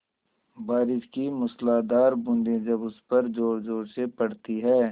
बारिश की मूसलाधार बूँदें जब उस पर ज़ोरज़ोर से पड़ती हैं